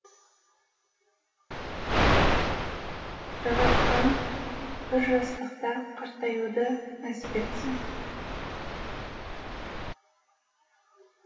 жаратқан бір жастықта қартаюды нәсіп етсін